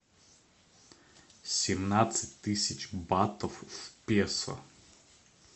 семнадцать тысяч батов в песо